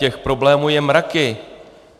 Těch problémů jsou mraky.